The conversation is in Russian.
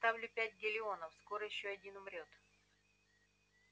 ставлю пять галлеонов скоро ещё один умрёт